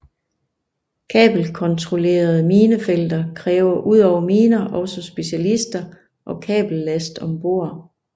Kabelkontrollerede minefelter kræver udover miner også specialister og kabellast om bord